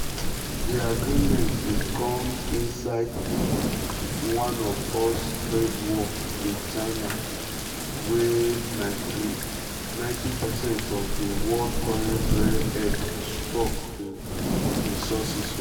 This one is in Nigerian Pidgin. di agreement dey comes inside one us trade war with china with china wia90 percent of di world current rare-earth stocks dey sourced from.